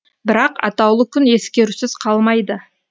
бірақ атаулы күн ескерусіз қалмайды